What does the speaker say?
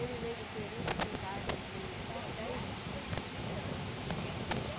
veio do Peru com idade de on dez anos. Eh